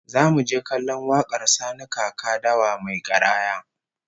Zamu je kallon wakar Sani Kaka Dawa mai garaya